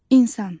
İnsan.